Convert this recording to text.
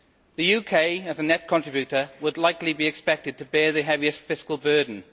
The UK, as a net contributor, would likely be expected to bear the heaviest fiscal burden.